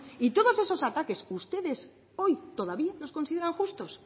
y todos eso ataques que ustedes hoy todavía los consideran justos